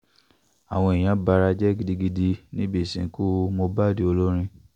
àwọn èèyàn bara jẹ́ gidigidi níbi ìsìnkú mohbad olórin